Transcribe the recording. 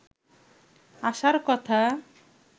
আশার কথা